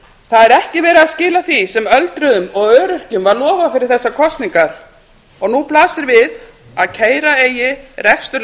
það er ekki verið að skila því sem öldruðum og öryrkjum var lofað fyrir þessar kosningar og nú blasir við að keyra eigi rekstur